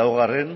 laugarren